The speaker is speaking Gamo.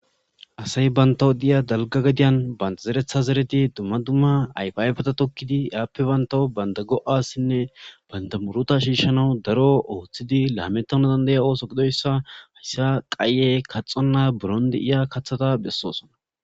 Asayi bawu diya daliga gadiyan banita zereththa zerid dumma dumma ayifa ayifeta tokid appe banita goasinne banita muruta shishanawu daro oththidi lametanawu diya oththo gididoyisa hayisa qaye buron kaththonita dizayisa buron deiya kaththataa besosona